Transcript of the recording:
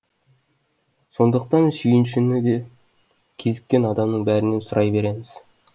сондықтан сүйіншіні де кезіккен адамның бәрінен сұрай береміз